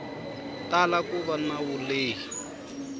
tala ku va na vulehi